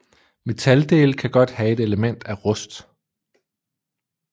Metaldele kan godt have et element af rust